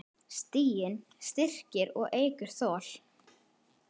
Stiginn styrkir og eykur þol.